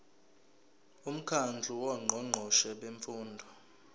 umkhandlu wongqongqoshe bemfundo